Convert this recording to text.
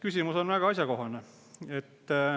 Küsimus on väga asjakohane.